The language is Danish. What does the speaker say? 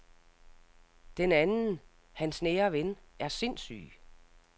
Den anden, hans nære ven, er sindssyg.